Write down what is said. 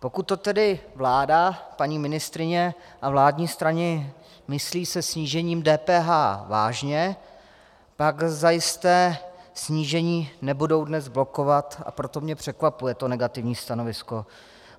Pokud to tedy vláda, paní ministryně a vládní strany myslí se snížením DPH vážně, tak zajisté snížení nebudou dnes blokovat, a proto mě překvapuje to negativní stanovisko.